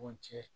Ɲɔgɔn cɛ